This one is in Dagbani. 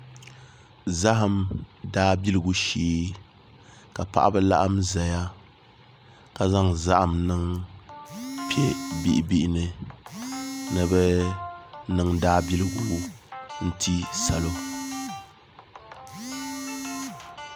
Zaham daabiligu shee ka paɣaba laɣam ʒɛya ka zaŋ zaham niŋ piɛ bihi bihi ni ni bi niŋ Daabiligu n ti salo